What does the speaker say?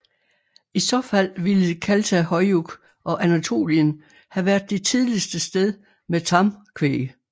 I så fald ville Çatalhöyük og Anatolien have været det tidligste sted med tamkvæg